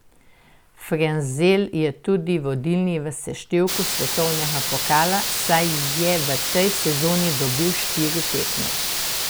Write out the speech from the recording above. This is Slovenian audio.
Frenzel je tudi vodilni v seštevku svetovnega pokala, saj je v tej sezoni dobil štiri tekme.